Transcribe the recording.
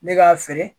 Ne k'a feere